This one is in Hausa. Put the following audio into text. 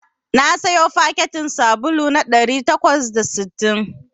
Na siyo fakitin sabulu na ɗari takwas da sittin